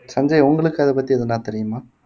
சஞ்சய் உங்களுக்கு அதை பத்தி எதுனா தெரியுமா